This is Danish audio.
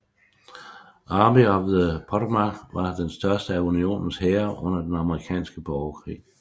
Army of the Potomac var den største af Unionens hære under den amerikanske borgerkrig